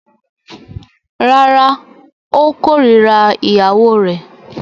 Rárá, ó kórira ìyàwó rẹ̀.